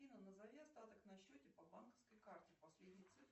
афина назови остаток на счете по банковской карте последние цифры